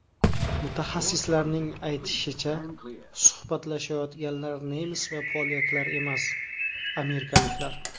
Mutaxassislarning aytishicha, suhbatlashayotganlar nemis va polyaklar emas, amerikaliklar.